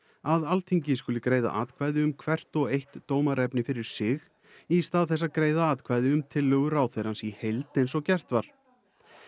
að Alþingi skuli greiða atkvæði um hvert og eitt dómaraefni fyrir sig í stað þess að greiða atkvæði um tillögu ráðherrans í heild eins og gert var